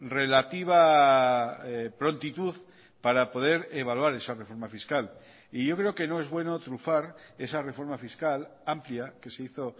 relativa prontitud para poder evaluar esa reforma fiscal y yo creo que no es bueno trufar esa reforma fiscal amplia que se hizo